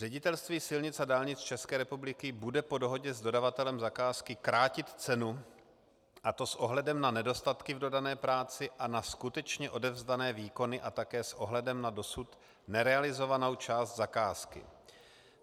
Ředitelství silnic a dálnic České republiky bude po dohodě s dodavatelem zakázky krátit cenu, a to s ohledem na nedostatky v dodané práci a na skutečně odevzdané výkony a také s ohledem na dosud nerealizovanou část zakázky.